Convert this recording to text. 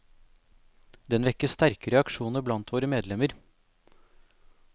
Den vekker sterke reaksjoner blant våre medlemmer.